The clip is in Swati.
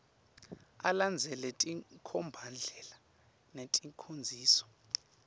alandzele tinkhombandlela neticondziso